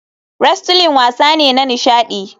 Wrestling wasa ne na nishadi.